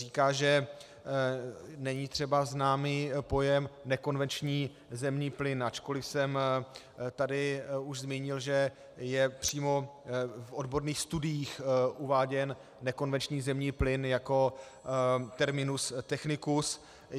Říká, že třeba není známý pojem nekonvenční zemní plyn, ačkoliv jsem tady už zmínil, že je přímo v odborných studiích uváděn nekonvenční zemní plyn jako terminus technicus.